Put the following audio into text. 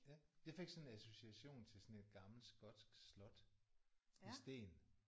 Ja jeg fik sådan en association til sådan et gammelt skotsk slot i sten